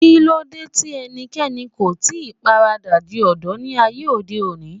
Kíló dé tí ẹnikẹ́ni kò ì tí paradà di Odò ní ayé òde òní?